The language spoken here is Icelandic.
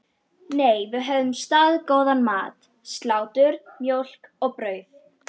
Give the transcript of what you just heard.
Nei, við höfðum staðgóðan mat: Slátur, mjólk og brauð.